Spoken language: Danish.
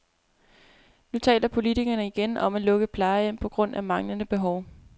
Nu taler politikerne igen om at lukke plejehjem på grund af manglende behov.